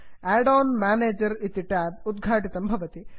Aiden manager इति tab उद्घाटितं भवति